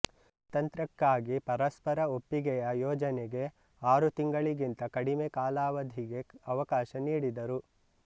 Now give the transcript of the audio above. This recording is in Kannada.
ಸ್ವಾತಂತ್ರ್ಯಕ್ಕಾಗಿ ಪರಸ್ಪರ ಒಪ್ಪಿಗೆಯ ಯೋಜನೆಗೆ ಆರು ತಿಂಗಳಿಗಿಂತ ಕಡಿಮೆ ಕಾಲಾವಧಿಗೆ ಅವಕಾಶ ನೀಡಿದರು